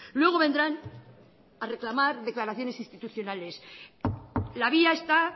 luego vendrán a reclamar declaraciones institucionales la vía está